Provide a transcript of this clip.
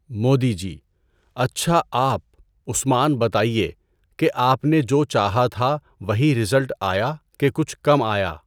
مودی جی: اچھا آپ، عثمان بتایئے، کہ آپ نے جو چاہا تھا وہی ریزلٹ آیا کہ کچھ کم آیا۔